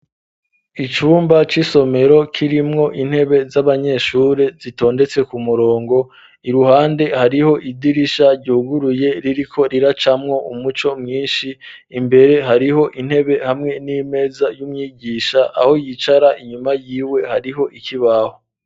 Icumba c'isomero kirimwo intebe z'abanyeshure zitondetse ku murongo iruhande hariho idirisha ryuguruye ririko riracamwo umuco mwinshi imbere hariho intebe hamwe n'imeza y'umwigisha aho yicara inyuma yiwe hariho ikibaho.